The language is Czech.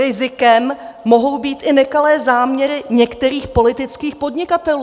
Rizikem mohou být i nekalé záměry některých politických podnikatelů.